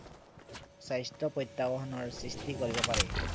স্বাস্থ্য় প্ৰত্য়াহ্বানৰ সৃ্ষ্টি কৰিব পাৰে